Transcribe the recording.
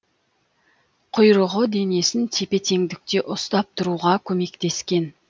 құйрығы денесін тепе теңдікте ұстап тұруға көмектескен